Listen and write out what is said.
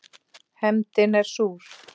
Hefndin er súr.